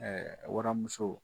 waramuso